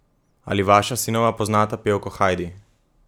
Ali vaša sinova poznata pevko Hajdi?